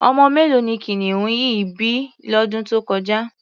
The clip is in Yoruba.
Ọmọ mélòó ni kìnìún yìí bí lọ́dún tó kọjá?